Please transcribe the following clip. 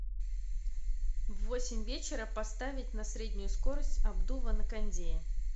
в восемь вечера поставить на среднюю скорость обдува на кондее